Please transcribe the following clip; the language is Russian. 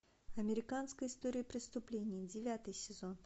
американская история преступлений девятый сезон